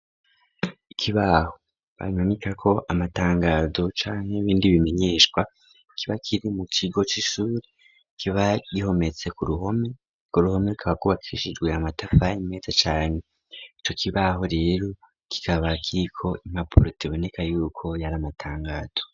Ikibaho bamanikako amatangazo canke ibindi bimenyeshwa kiba kiri mu kigo c'ishure, kiba gihometse ku ruhome, urwo ruhome rukaba rwubakishijwe amatafari meza cane. ico kibaho rero kikaba kiriko impapuro ziboneka yuko yari amatangazo.